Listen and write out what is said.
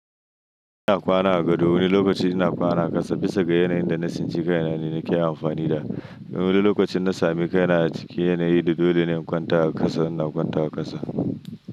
Ina kwana a gado wani lokaci ina kwana a ƙasa bisa ga yanayin da na tsinci kaina ne nake amfani da. Wani lokacin in na sami kaina a cikin yanayi da dole ne in kwanta a ƙasa, ina kwanta a ƙasa.